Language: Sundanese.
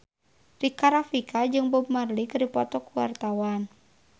Rika Rafika jeung Bob Marley keur dipoto ku wartawan